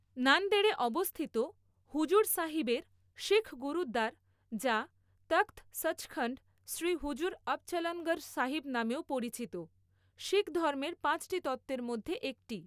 নান্দেড়ে অবস্থিত হুজুর সাহিবের শিখ গুরুদ্বার, যা তখত সচখন্ড শ্রী হজুর আবচলনগর সাহিব নামেও পরিচিত, শিখ ধর্মের পাঁচটি তত্ত্বের মধ্যে একটি।